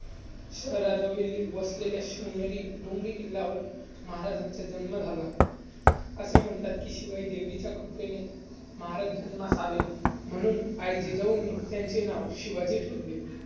शहराजवळील वसलेल्या शिवनेरी डोंगरी किल्ल्यावर महाराजांचा जन्म झाला. असे म्हणतात, कि शिवाई देवीच्या कृपेने महाराज जन्मास आले. म्हणून आई जिजाऊंनी त्यांचे नाव शिवाजी ठेवले.